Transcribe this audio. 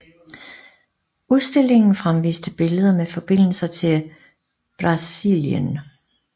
Udstillingen fremviste billeder med forbindelser til Brazilienl